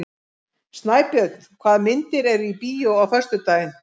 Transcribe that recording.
Snæbjörn, hvaða myndir eru í bíó á föstudaginn?